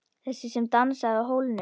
Þessi sem dansaði á hólnum.